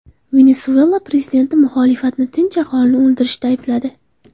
Venesuela prezidenti muxolifatni tinch aholini o‘ldirishda aybladi.